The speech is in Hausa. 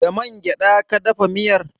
Da man gyada ka dafa miyar?